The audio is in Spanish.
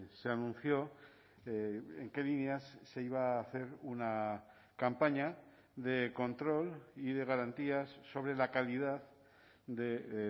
se anunció en qué líneas se iba a hacer una campaña de control y de garantías sobre la calidad de